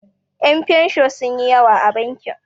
Yan' fensho sunyi yawa a bankin.